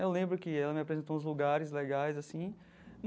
Eu lembro que ela me apresentou uns lugares legais assim.